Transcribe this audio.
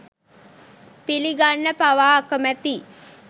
පිලිගන්න පවා අකමැතියි.